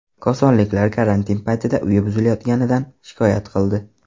Kosonliklar karantin paytida uyi buzilayotganidan shikoyat qildi.